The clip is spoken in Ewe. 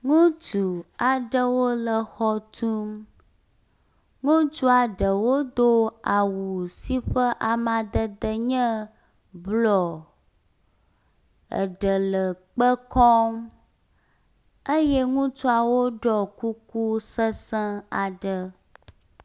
Ŋutsu aɖewo le xɔ tum. Ŋutsu aɖewo do awu si ƒe amadede nye blɔɔ. Eɖe le kpe kɔm eye ŋutsuwo ɖɔ kuku sesẽ aɖe.